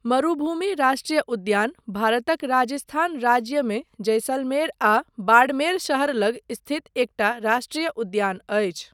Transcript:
मरुभूमि राष्ट्रीय उद्यान भारतक राजस्थान राज्यमे जैसलमेर आ बाड़मेर शहर लग स्थित एकटा राष्ट्रीय उद्यान अछि।